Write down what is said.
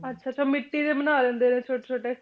ਅੱਛਾ ਅੱਛਾ ਮਿੱਟੀ ਦੇ ਬਣਾ ਲੈਂਦੇ ਆ ਜਿਹੜੇ ਛੋਟੇ ਛੋਟੇ